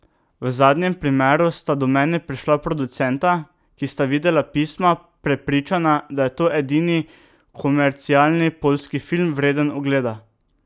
V zadnjem primeru sta do mene prišla producenta, ki sta videla Pisma, prepričana, da je to edini komercialni poljski film, vreden ogleda.